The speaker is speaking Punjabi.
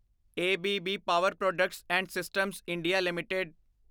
A B B power products and systems India LTD